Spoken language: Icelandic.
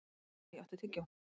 Kai, áttu tyggjó?